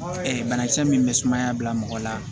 banakisɛ min bɛ sumaya bila mɔgɔ la